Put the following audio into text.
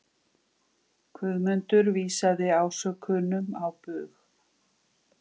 Guðmundur vísaði ásökunum á bug.